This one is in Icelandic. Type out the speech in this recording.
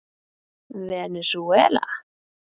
Venesúela